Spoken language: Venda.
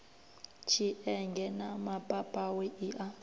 tshienge na mapapawe i a